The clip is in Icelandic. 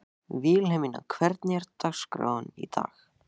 Vilhelmína, hvernig er dagskráin í dag?